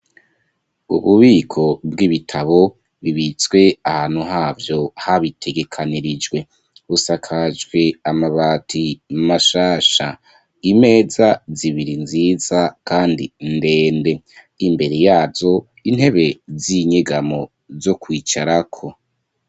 Ububiko bw'ibitabo bibitswe ahantu havyo habitegekanirijwe busakajwe amabati mashasha, imeza zibiri nziza kandi ndende, imbere yazo intebe z'inyegamo zo kwicarako.